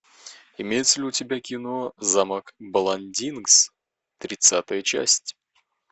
имеется ли у тебя кино замок бландингс тридцатая часть